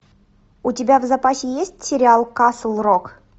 у тебя в запасе есть сериал касл рок